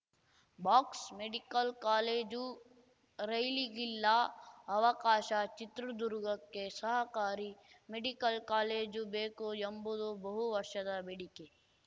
box medical college ರೈಲಿಗಿಲ್ಲ ಅವಕಾಶ ಚಿತ್ರದುರ್ಗಕ್ಕೆ ಸಹಕಾರಿ ಮೆಡಿಕಲ್‌ ಕಾಲೇಜು ಬೇಕು ಎಂಬುದು ಬಹುವರ್ಷದ ಬೇಡಿಕೆ